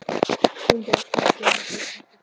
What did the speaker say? Ég mundi óska mér svolítils handa þér!